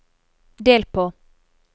del på